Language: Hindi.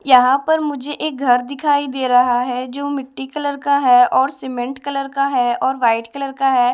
यहां पर मुझे एक घर दिखाई दे रहा है जो मिट्टी कलर का है और सीमेंट कलर का है और व्हाइट कलर का है।